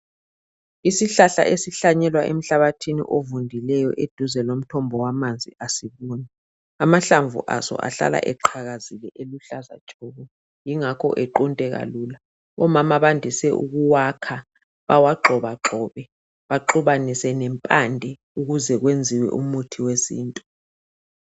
Isihlahla esihlanyelwa emhlabathini ovundileyo eduze lomthombo wamanzi asibuni. Amahlamvu aso ahlala eqhakazile eluhlaza tshoko yingakho equnteka lula omama bandise ukuwakha bawagxobagxobe baxubanise lempande ukuze kwenziwe umuthi wesintu.